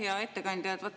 Hea ettekandja!